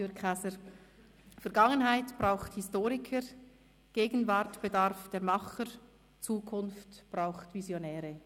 «Vergangenheit braucht Historiker, Gegenwart bedarf der Macher, Zukunft braucht Visionäre.